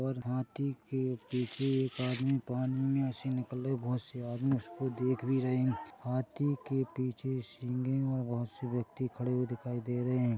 और हाथी के पीछे एक आदमी पानी में से निकल रहे बहुत से आदमी उसको देख भी रहे है। हाथी के पीछे सिग है और बहुत से व्यक्ति खड़े हुए दिखाई दे रहे है।